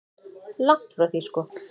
Langt því frá sko.